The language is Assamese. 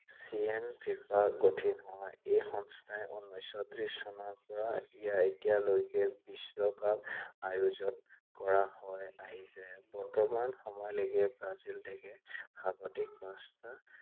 ফিফা গঠিত হয়। এই সংস্থাই উনেশ ত্ৰিশ চনৰ পৰা এতিয়ালৈকে বিশ্বকাপ আয়োজন কৰা হৈ আহিছে। বৰ্তমান সময়লৈকে ব্ৰাজিল দেশে সৰ্বাধিক পাঁচবাৰ